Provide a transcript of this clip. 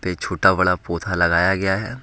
छोटा बड़ा पौधा लगाया गया है।